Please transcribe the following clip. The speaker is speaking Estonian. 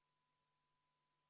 Palun võtta seisukoht ja hääletada!